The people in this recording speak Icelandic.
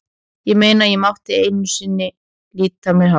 Ég meina, ég mátti ekki einu sinni lita á mér hárið.